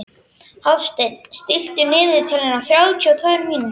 Hafsteinn, stilltu niðurteljara á þrjátíu og tvær mínútur.